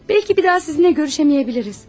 Bəlkə bir daha sizinlə görüşə bilməyəcəyik.